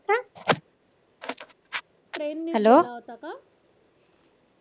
Train ने गेला होता का?